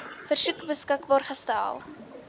versoek beskikbaar gestel